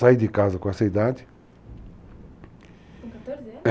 Saí de casa com essa idade. Com 14 anos? é.